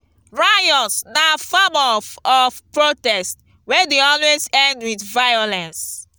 riots na form of of protest wey de always end with violence